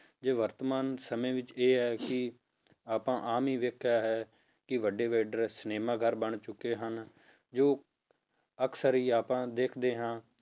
ਜੇ ਵਰਤਮਾਨ ਸਮੇਂ ਵਿੱਚ ਇਹ ਹੈ ਕਿ ਆਪਾਂ ਆਮ ਹੀ ਵੇਖਿਆ ਹੈ ਕਿ ਵੱਡੇ ਵੱਡੇ ਸਿਨੇਮਾ ਘਰ ਬਣ ਚੁੱਕੇ ਹਨ, ਜੋ ਅਕਸਰ ਹੀ ਆਪਾਂ ਦੇਖਦੇ ਹਾਂ,